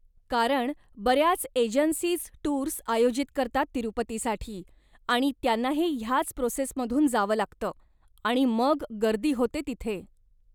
कारण बऱ्याच agencies tours आयोजित करतात तिरुपतीसाठी, आणि त्यांनाही ह्याच प्रोसेसमधून जावं लागतं, आणि मग गर्दी होते तिथे.